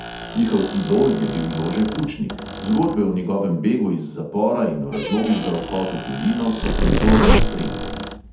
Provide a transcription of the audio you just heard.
Njihov idol je bil jože pučnik, zgodbe o njegovem begu iz zapora in o razlogih za odhod v tujino so pozorno spremljali.